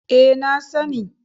E, na sani.